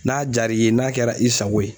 N'a jar'i ye n'a kɛra i sago ye